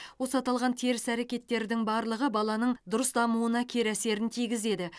осы аталған теріс әрекеттердің барлығы баланың дұрыс дамуына кері әсерін тигізеді